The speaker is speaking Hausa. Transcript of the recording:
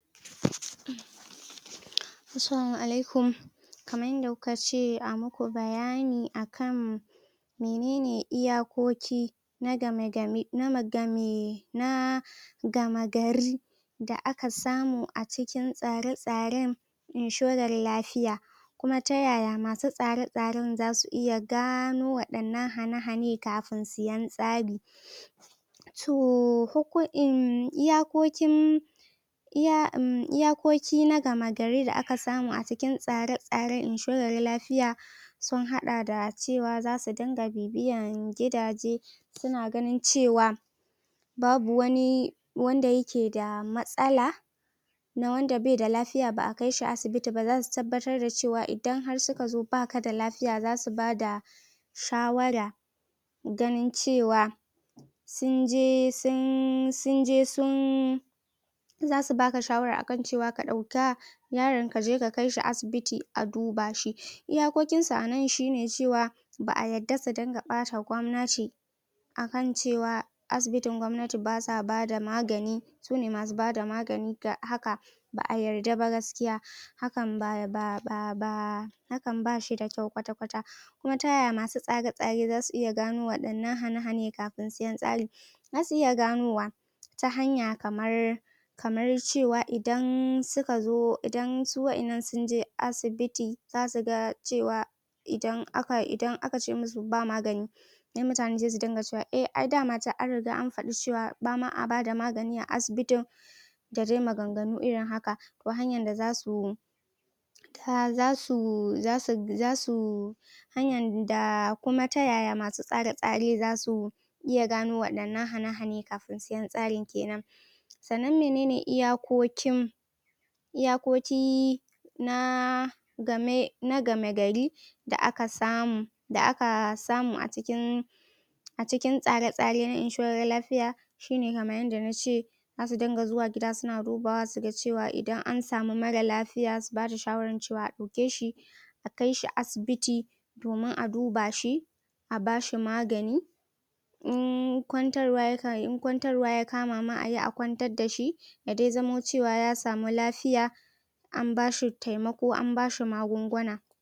assalama alaikum kamar yanda kukace amaku bayani akan menene iyakoki na game ga nah game gari da aka samu a cikin tsare tsaren inshorar lafiya kuma ta yaya masu tsare tsaren zasu iya gano wadannan hane hane kafin su sayen tsari toh iyakokin iyakokin na game gari da aka samu a cikin tsare tsaren inshorar lafiya sun hada da cewa za su dinga bibiyyan gidaje suna ganin cewa babu wani wanda yake da matsala na wanda baida lafiya ba'a kaishi asibiti ba za su tabbatar da cewa idan har suka zo baka da lafiya zasu bada shawara ganin cewa sunje sun sunje sun zasu baka shawara akan cewa ka dauka marar lafiyar kaje ka kai shi asibiti a duba shi iyakokin su anan shine ba'a yarada su dinga bata kwamnati akan cewa asibitin gwamnati basa bada magani sune masu bada magani ga haka ba'a yarda ba gaskiya haban ba ba hakan bashida kyau kwata kwata kuma taya masu tsare tsare zasu gano wadannan hane hane kafin sayen tsari zasu iya ganowa ta hanya kamar kamar cewa idan suka zo idan su wadannan sunje asibiti zasu ga cewa idan akace masu ba magani sai mutane su dinga cewa eh ai dama chan an riga an fada cewa bama a bada magani a asibitin da dai maganganu irin haka ta hanyan da zasu ta zasu zasu zasu hanyan da kuma ta yaya masu tsare tsare zasu iya iya gano wadannan hane hane daga masu sayen tsari kenan sannan minene iyakokin iyakoi na game na game gari da aka samu da aka samu a cikin a cikin tsare tsare na inshorar lafiya shine kamar yanda nace zasu dinga zuwa gida suna dubawa suga cewa idan an samu marar lafiya su bashi shawara akan cewa a dauke shi a kaishi asibiti domin a duba shi a bashi magani in kwantarwa ya in kwantarwa ya kama ayi a kwantar da shi ya dai zamo cewa ya samu lafiya an bashi taimako an bashi magunguna